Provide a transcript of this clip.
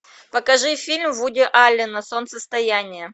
покажи фильм вуди аллена солнцестояние